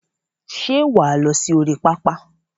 Ṣé wà á lọ sí orí pápá?